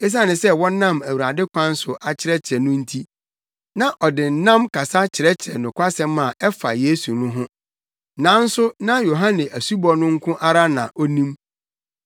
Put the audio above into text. Esiane sɛ na wɔnam Awurade kwan so akyerɛkyerɛ no nti, na ɔde nnam kasa kyerɛkyerɛ nokwasɛm a ɛfa Yesu ho no. Nanso na Yohane asubɔ no nko ara na onim.